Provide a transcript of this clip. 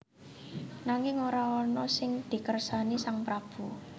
Nanging ora ana sing dikersani sang prabu